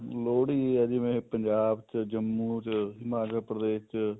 ਲੋਹੜੀ ਏ ਜਿਵੇਂ ਪੰਜਾਬ ਚ ਜੰਮੂ ਚ ਹਿਮਾਚਲ ਪ੍ਰਦੇਸ਼ ਚ